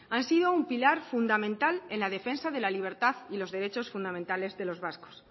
han sido un pilar fundamental en la defensa de la libertad y los derechos fundamentales de los vascos